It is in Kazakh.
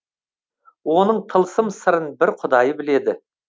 оның тылсым сырын бір құдай біледі